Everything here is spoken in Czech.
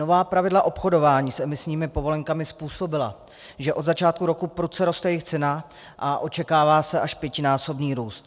Nová pravidla obchodování s emisními povolenkami způsobila, že od začátku roku prudce roste jejich cena, a očekává se až pětinásobný růst.